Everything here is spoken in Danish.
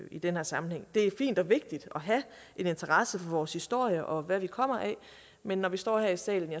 i den her sammenhæng det er fint og vigtigt at have en interesse for vores historie og hvad vi kommer af men når vi står her i salen